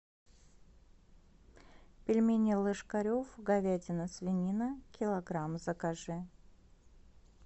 пельмени ложкарев говядина свинина килограмм закажи